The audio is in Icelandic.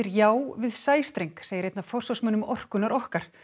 já við sæstreng segir einn af forsvarsmönnum orkunnar okkar